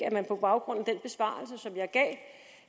at man på baggrund